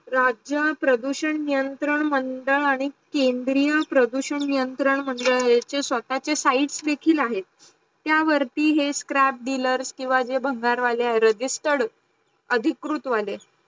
राज्य प्रदूषण नियंत्रण मंडळ आणी केंद्रीय प्रदूषण नियंत्रण मंडळ चे स्वतःचे sites देखील आहे. त्या वरती हे scrap dealers किव्वा जे भानगर वाले आहे registered अधिकृत् वाले